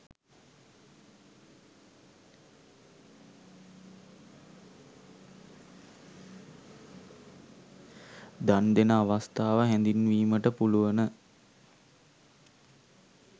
දන් දෙන අවස්ථාව හැඳින්වීමට පුළුවන.